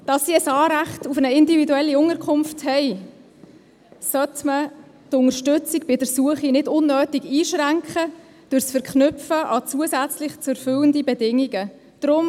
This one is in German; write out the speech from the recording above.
Da sie ein Anrecht auf eine individuelle Unterkunft haben, sollte man die Unterstützung bei der Suche nicht unnötig durch das Verknüpfen mit zusätzlich zu erfüllenden Bedingungen einschränken.